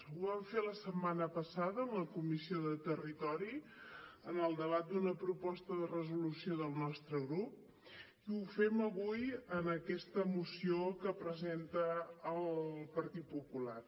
ho vam fer la setmana passada en la comissió de territori en el debat d’una proposta de resolució del nostre grup i ho fem avui en aquesta moció que presenta el partit popular